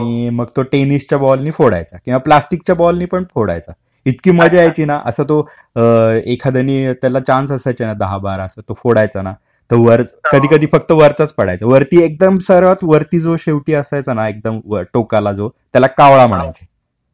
आणि मग तो टेनिसच्या बॉलनी फोडायचा किंवा प्लास्टिक च्या बॉल नी पण फोडायचा. इतकी मजा यायची ना, असा तो एखाद्याने त्याला चान्स असायचे ना दहा बारा असा तो फोडायचा ना, तर कधी कधी फक्त वरचाच पडायचा. वरती एकदम सर्वात वरती जो शेवटी असायचा ना एकदम टोकाला जो त्याला कावळा म्हणायचे.